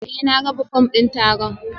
Eh na raba fom din taron